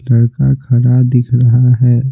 लड़का खड़ा दिख रहा है।